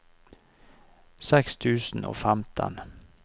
seks tusen og femten